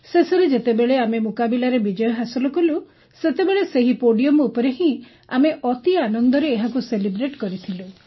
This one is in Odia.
ଶେଷରେ ଯେତେବେଳେ ଆମେ ମୁକାବିଲାରେ ବିଜୟ ହାସଲ କଲୁ ସେତେବେଳେ ସେହି ପୋଡିୟମ୍ ଉପରେ ହିଁ ଆମେ ଅତି ଆନନ୍ଦରେ ଏହାକୁ ସେଲିବ୍ରେଟ୍ କରିଥିଲୁ